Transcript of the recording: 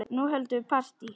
Nú höldum við partí!